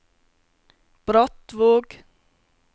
Brattvåg